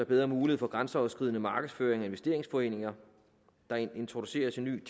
bedre mulighed for grænseoverskridende markedsføring af investeringsforeninger der introduceres en